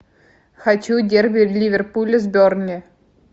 хочу дерби ливерпуля с бернли